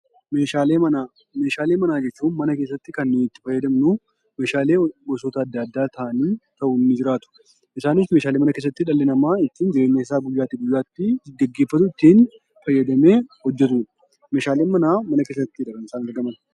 Meeshaalee manaa jechuun mana keessatti kan itti fayyadamnu meeshaalee gosoota adda addaa ta'anii isaanis meeshaalee dhalli namaa ittiin mana keessatti jireenyasaa guyyaa guyyaatti gaggeeffatu ittiin fayyadamee hojjatudha. Meeshaaleen manaa mana keessattidha kan isaan argaman.